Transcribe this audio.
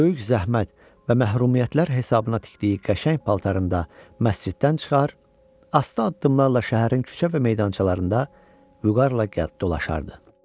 Böyük zəhmət və məhrumiyyətlər hesabına tikdiyi qəşəng paltarında məsciddən çıxar, asta addımlarla şəhərin küçə və meydançalarında vüqarla gəlib dolaşardı.